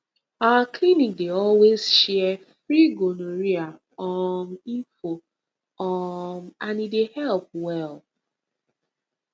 our clinic dey always share free gonorrhea um info um and e dey help well